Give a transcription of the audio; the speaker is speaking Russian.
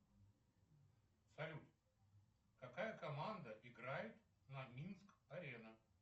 салют какая команда играет на минск арена